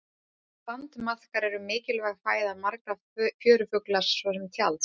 Sandmaðkar eru mikilvæg fæða margra fjörufugla svo sem tjalds.